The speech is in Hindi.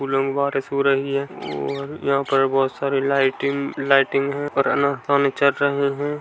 फूलों की बारिश हो रही है औ--र यहाँ पर बहुत सारे लाइटिंग-लाइटिंग है और अनारदाने जल रहे हैं।